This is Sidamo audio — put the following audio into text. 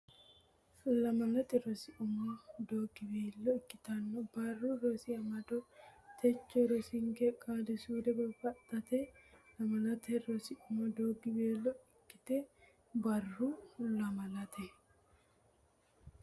Lamalate Rosi Umo Doogiweelo Ikkito Barru Rosi Amado techo rosinke qaali suude babbadate Lamalate Rosi Umo Doogiweelo Ikkito Barru Lamalate.